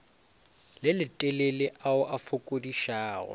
le letelele ao a fokodišago